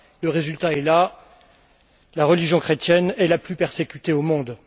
Le résultat est là, la religion chrétienne est la plus persécutée au monde.